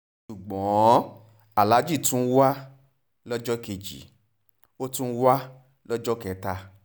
ṣùgbọ́n aláàjì tún wà lọ́jọ́ kejì ó tún wà lọ́jọ́ kẹta